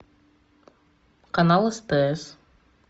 канал стс